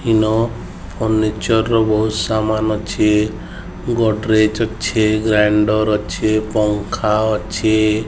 ଇନ furniture ର ବହୁତ୍ ସାମାନ୍ ଅଛି ଗୋଦ୍ରେଜ୍ ଅଛି ଗ୍ରାଉଣ୍ଡର ଅଛି ପଙ୍ଖା ।